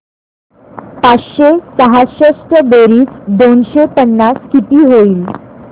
पाचशे सहासष्ट बेरीज दोनशे पन्नास किती होईल